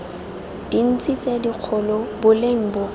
dintsi tse dikgolo boleng bo